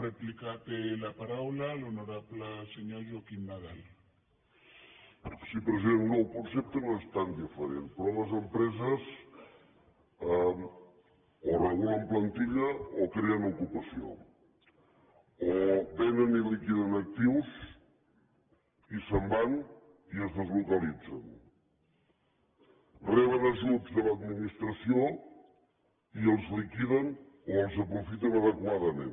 sí president no el concepte no és tan diferent però les empreses o regulen plantilla o creen ocupació o vénen i liquiden actius i se’n van i es deslocalitzen reben ajuts de l’administració i els liquiden o els aprofiten adequadament